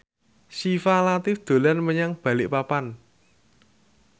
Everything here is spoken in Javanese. Syifa Latief dolan menyang Balikpapan